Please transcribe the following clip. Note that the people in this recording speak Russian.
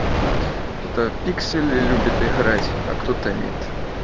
кто-то пиксели любит играть а кто-то нет